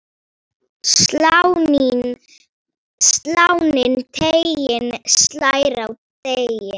Sláninn teiginn slær á degi.